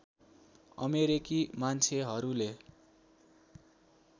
अमेरिकी मान्छेहरूले